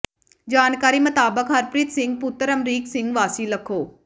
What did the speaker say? ਜਾਣਕਾਰੀ ਮਤਾਬਕ ਹਰਪ੍ਰੀਤ ਸਿੰਘ ਪੁੱਤਰ ਅਮਰੀਕ ਸਿੰਘ ਵਾਸੀ ਲੱਖੋ